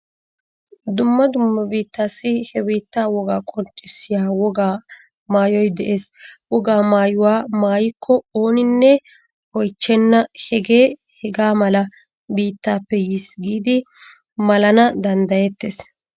Dumm dumma biittaassi he biittaa wogaa qonccissiya wogaa maayoy de'ees. Wogaa maayuwa maayikko ooninne oychchenna hagee hagaa mala biittaappe yiis giidi malana danddayettees.